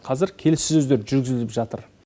қазір келіссөздер жүргізіліп жатыр